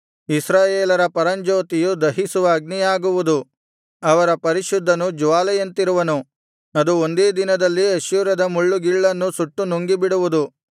ಇಸ್ರಾಯೇಲರ ಪರಂಜ್ಯೋತಿಯು ದಹಿಸುವ ಅಗ್ನಿಯಾಗುವುದು ಅವರ ಪರಿಶುದ್ಧನು ಜ್ವಾಲೆಯಂತಿರುವನು ಅದು ಒಂದೇ ದಿನದಲ್ಲಿ ಅಶ್ಶೂರದ ಮುಳ್ಳುಗಿಳ್ಳನ್ನು ಸುಟ್ಟು ನುಂಗಿಬಿಡುವುದು